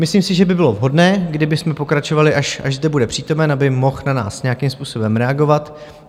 Myslím si, že by bylo vhodné, kdybychom pokračovali, až zde bude přítomen, aby mohl na nás nějakým způsobem reagovat.